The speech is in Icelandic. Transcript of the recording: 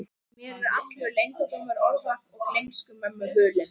Mér er allur leyndardómur orða og gleymsku mömmu hulinn.